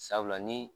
Sabula ni